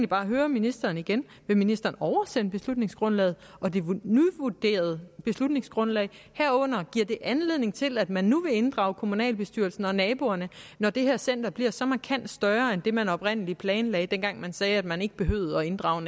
bare høre ministeren igen vil ministeren oversende beslutningsgrundlaget og det nyvurderede beslutningsgrundlag og giver det anledning til at man nu vil inddrage kommunalbestyrelsen og naboerne når det her center bliver så markant større end det man oprindelig planlagde dengang man sagde at man ikke behøvede at inddrage